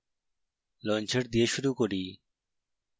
launcher দিয়ে শুরু করি